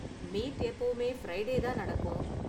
Meet எப்பவுமே Friday தான் நடக்கும்.